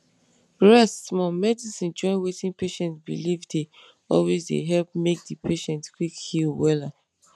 rest small medicine join wetin patient believe dey always dey help make di patient quick heal wella.